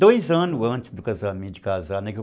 Dois anos antes do casamento, de casar, né?